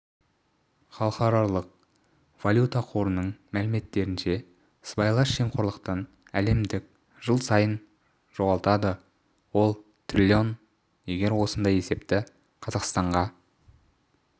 халықаралық валюта қорының мәліметтерінше сыбайлас жемқорлықтан әлемдік жыл сайын жоғалтады ол трлн егер осындай есепті қазақстанға